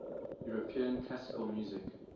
european classical music